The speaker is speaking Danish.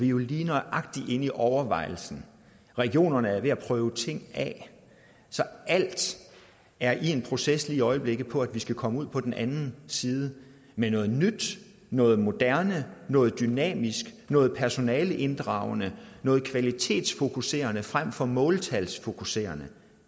jo lige nøjagtig inde i overvejelsen regionerne er ved at prøve ting af så alt er i en proces lige i øjeblikket for at vi skal komme ud på den anden side med noget nyt noget moderne noget dynamisk noget personaleinddragende noget kvalitetsfokuserende frem for måltalsfokuserende